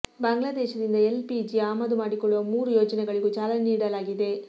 ಬಾಂಗ್ಲಾದೇಶದಿಂದ L P G ಆಮದು ಮಾಡಿಕೊಳ್ಳುವ ಮೂರು ಯೋಜನೆಗಳಿಗೂ ಚಾಲನೆ ನೀಡಲಾಗಿದೆ